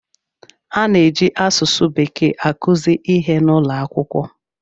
A na-eji asụsụ bekee akụzi ihe n'ụlọ akwụkwọ.